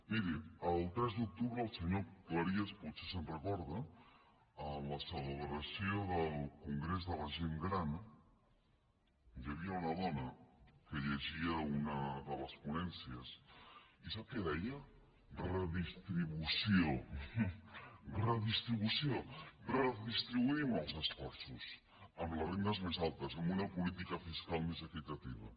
miri el tres d’octubre el senyor cleries potser se’n recorda en la celebració del congrés de la gent gran hi havia una dona que llegia una de les ponències i sap què deia redistribució redistribució redistribuïm els esforços amb les rendes més altes amb una política fiscal més equitativa